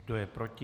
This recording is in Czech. Kdo je proti?